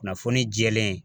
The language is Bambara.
Kunnafoni jɛlen.